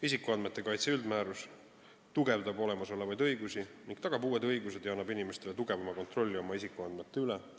Isikuandmete kaitse üldmäärus tugevdab olemasolevaid õigusi ning tagab uued õigused ja annab inimestele tugevama kontrolli oma isikuandmete üle.